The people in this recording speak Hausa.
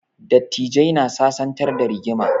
Dattijai na sasantar da rigima